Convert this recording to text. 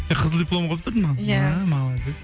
қызыл дипломға бітірдің ба ия мәә молодец